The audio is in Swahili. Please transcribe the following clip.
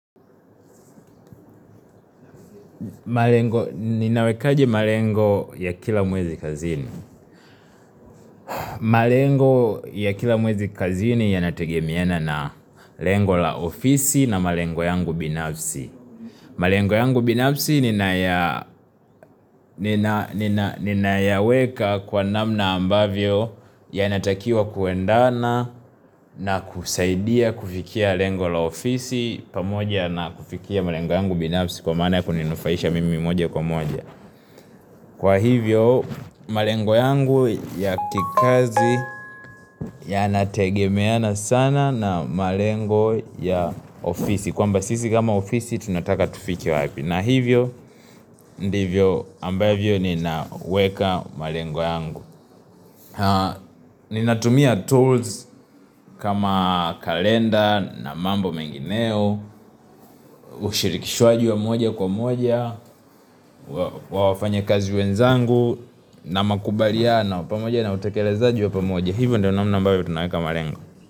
Malengo ninawekaji malengo ya kila mwezi kazini. Malengo ya kila mwezi kazini ya natege meana na lengo la ofisi na malengo yangu binafsi. Malengo yangu binapsi nina yaweka kwa namna ambavyo ya natakiwa kuendana na kusaidia kufikia lengo la ofisi pamoja na kufikia malengo yangu binafsi kwa maana ya kuninufaisha mimi moja kwa moja. Kwa hivyo, malengo yangu ya kikazi ya nategemeana sana na malengo ya ofisi. Kwa mba sisi kama ofisi, tunataka tufike wapi. Na hivyo, ndivyo ambavyo ni naweka malengo yangu. Ninatumia tools kama kalenda na mambo mengineo. Ushirikishuaji wa moja kwa moja. Wawafanya kazi wenzangu. Angu na makubali ya na upamoja na utekele zaji wa pamoja. Hivyo ndio namuna ambavyo tu naweka marengo.